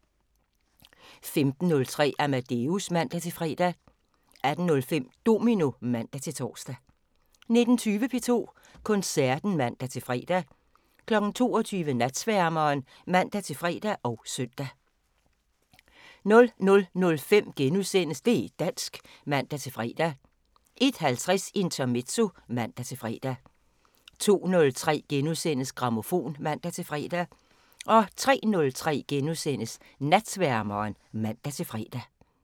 15:03: Amadeus (man-fre) 18:05: Domino (man-tor) 19:20: P2 Koncerten (man-fre) 22:00: Natsværmeren (man-fre og søn) 00:05: Det' dansk *(man-fre) 01:50: Intermezzo (man-fre) 02:03: Grammofon *(man-fre) 03:03: Natsværmeren *(man-fre)